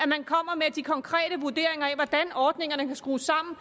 at de konkrete vurderinger af hvordan ordningerne kan skrues sammen